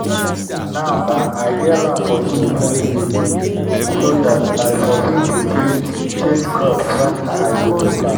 now bah i get land for two different villages so dat i for fit dey change change crops wen i go dey plant